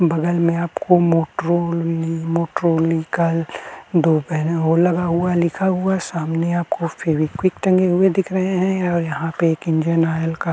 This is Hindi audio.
बगल में आपको मोट्रो नी मोट्रोनिकल हो लगा हुआ है लिखा हुआ है। सामने आपको फेविक्विक टंगे हुए दिख रहे हैं और यहां पे एक इंजिन ऑयल का --